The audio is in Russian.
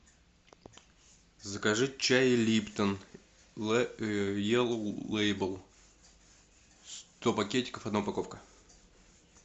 закажи чай липтон еллоу лейбл сто пакетиков одна упаковка